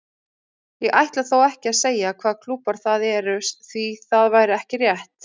Ég ætla þó ekki að segja hvaða klúbbar það eru því það væri ekki rétt.